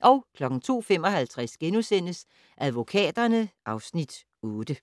02:55: Advokaterne (Afs. 8)*